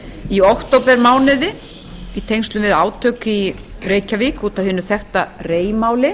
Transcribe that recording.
í októbermánuði í tengslum við átök í reykjavík út af hinu þekkta rei máli